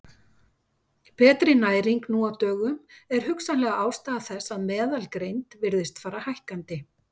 Betri næring nú á dögum er hugsanleg ástæða þess að meðalgreind virðist fara hækkandi.